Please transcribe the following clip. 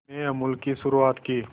में अमूल की शुरुआत की